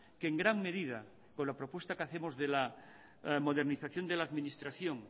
que en gran medida con la propuesta que hacemos de la modernización de la administración